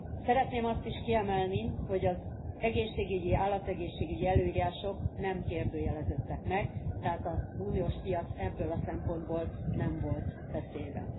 Szeretném azt is kiemelni, hogy az egészségügyi, állategészségügyi előírások nem kérdőjeleződtek meg, tehát az uniós piac ebből a szempontból nem volt veszélyben.